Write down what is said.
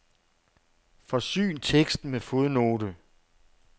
Forsyn teksten med fodnote.